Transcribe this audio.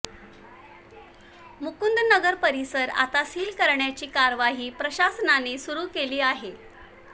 मुकुंदनगर परिसर आता सील करण्याची कार्यवाही प्रशासनाने सुरू केली आहे